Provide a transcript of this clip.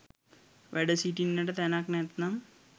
වැඩ සිටින්නට තැනක් නැත්නම්